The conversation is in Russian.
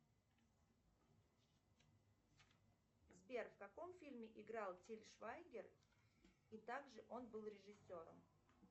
сбер в каком фильме играл тиль швайгер и также он был режиссером